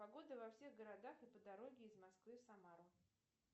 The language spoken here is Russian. погода во всех городах и по дороге из москвы в самару